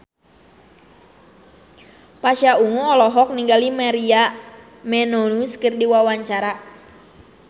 Pasha Ungu olohok ningali Maria Menounos keur diwawancara